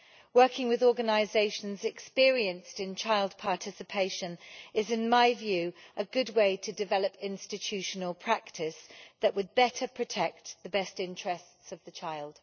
Working with organisations experienced in child participation is, in my view, a good way to develop institutional practice that would better protect the best interests of the child.